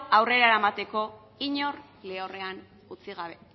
aurrera eramateko inork lehorrean utzi gabe